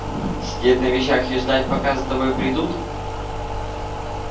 сидеть на вещах и ждать пока за тобой придут